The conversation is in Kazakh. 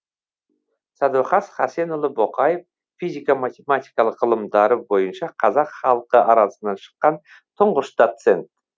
сәдуақас хасенұлы боқаев физика матемематикалық ғылымдары бойынша қазақ халқы арасынан шыққан тұңғыш доцент